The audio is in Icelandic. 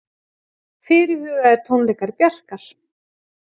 Fyrirhugaðir tónleikar Bjarkar